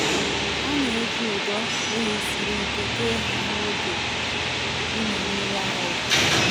A na-eji ụdọ ehi siri ike kee ha n’oge ịmị mmiri ara.